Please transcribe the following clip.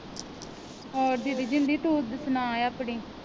ਹੋਰ ਦੀਦੀ ਜਿੰਦੀ ਤੂੰ ਸੁਣਾ ਆਪਣੀ?